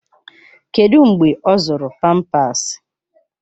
Kedụ mgbe ọ zụrụ pampasi?